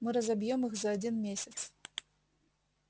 мы разобьём их за один месяц